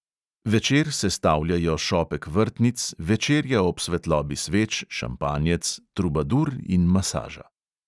Večer sestavljajo šopek vrtnic, večerja ob svetlobi sveč, šampanjec, trubadur in masaža.